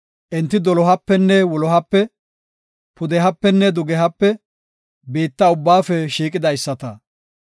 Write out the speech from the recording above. Enti Dolohapenne wulohape, pudehapenne dugehape biitta ubbaafe shiiqidaysata.